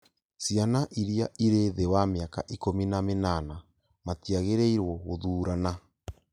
Ciana iria irĩ thĩ wa mĩaka ikũmi na mĩnana matiagĩrĩirwo gũthurana